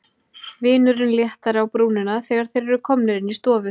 Vinurinn léttari á brúnina þegar þeir eru komnir inn í stofu.